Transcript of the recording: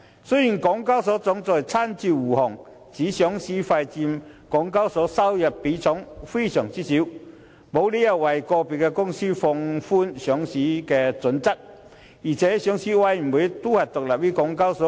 雖然港交所行政總裁親自護航，指上市費佔港交所收入的比例非常少，沒有理由為個別公司放寬上市準則，而上市委員會亦是獨立於港交所。